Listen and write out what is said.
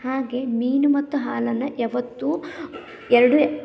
ಹಾಗೆ ಮೀನು ಮತ್ತು ಹಾಲನ್ನ ಯಾವತ್ತು ಎರಡು --